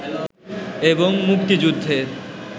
এবং মুক্তিযুদ্ধের